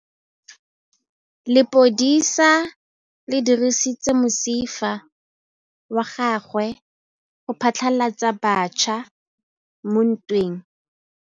Lepodisa le dirisitse mosifa wa gagwe go phatlalatsa batšha mo ntweng.